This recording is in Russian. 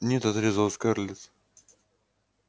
нет отрезала скарлетт